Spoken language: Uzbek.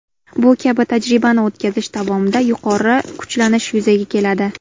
Bu kabi tajribani o‘tkazish davomida yuqori kuchlanish yuzaga keladi.